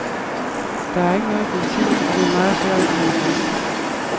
Der er ikke noget benzin, og det er meget svært at komme rundt.